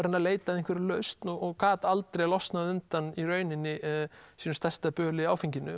að leita að einhverri lausn og gat aldrei losnað undan sínu stærsta böli áfenginu